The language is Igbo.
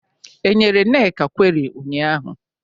E nyere Nneka kweri ụnyaahụ?